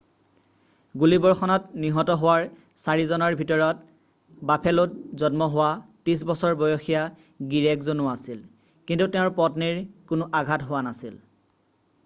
গুলিবৰ্ষণত নিহত হোৱাৰ চাৰিজনৰ ভিতৰত বাফেলোত জন্ম হোৱা 30 বছৰ বয়সীয়া গিৰীয়েকজনো আছিল কিন্তু তেওঁৰ পত্নীৰ কোনো আঘাত হোৱা নাছিল